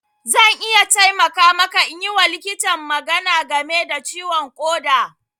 Zan iya taimaka maka in yi wa likitan magana game da ciwon ƙoda.